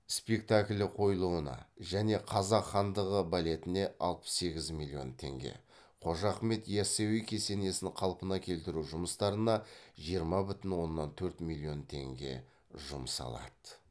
спекталі қойылуына және қазақ хандығы балетіне қожа ахмет ясауи кесенесін қалпына келтіру жұмыстарына жұмсалады